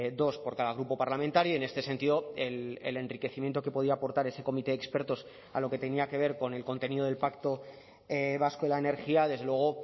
dos por cada grupo parlamentario en este sentido el enriquecimiento que podía aportar ese comité de expertos a lo que tenía que ver con el contenido del pacto vasco de la energía desde luego